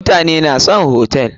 Mutane na son hotel.